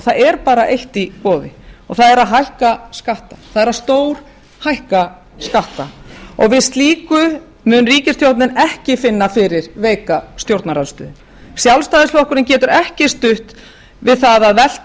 það er bara eitt í boði það er að hækka skatta það er að stórhækka skatta við slíku mun ríkisstjórnin ekki finna fyrir veika stjórnarandstöðu sjálfstæðisflokkurinn getur ekki stutt við það að velta